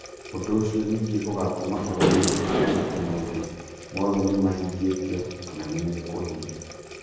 Ũndũ ũcio ningĩ ũgatũma agũri metĩkie atĩ maũndũ mothe nĩ mahingĩtio, kana nĩ mekũhingio.